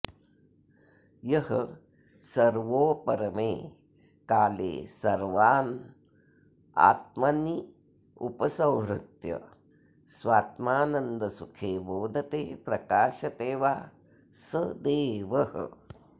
यः सर्वोपरमे काले सर्वानात्मन्युपसंहृत्य स्वात्मानन्दसुखे मोदते प्रकाशते वा स देवः